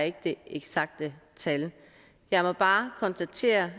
ikke de eksakte tal jeg må bare konstatere